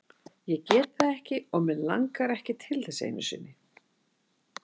Ég get það ekki og mig langar ekki einu sinni til þess.